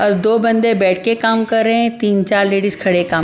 और दो बंदे बैठ के काम कर रहे हैं तीन चार लेडीज खड़े काम --